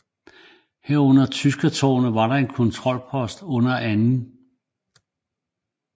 Herunder Tyskertårnet der var en kontrolpost under 2